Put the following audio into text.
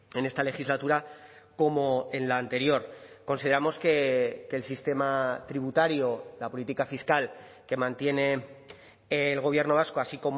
en esta legislatura como en la anterior consideramos que el sistema tributario la política fiscal que mantiene el gobierno vasco así